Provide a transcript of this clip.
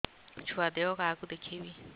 ଛୁଆ ଦେହ କାହାକୁ ଦେଖେଇବି